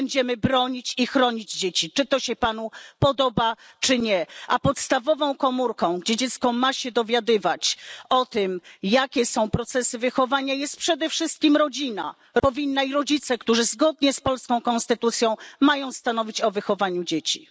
My będziemy bronić i chronić dzieci, czy to się panu podoba czy nie, a podstawową komórką, gdzie dziecko ma się dowiadywać o tym, jakie są procesy wychowania, jest przede wszystkim rodzina i rodzice, którzy zgodnie z polską konstytucją, mają stanowić o wychowaniu dzieci.